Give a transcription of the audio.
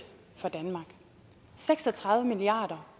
for danmark seks og tredive milliard